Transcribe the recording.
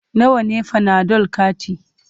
Nawa ne fanadol kati?